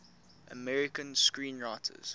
american screenwriters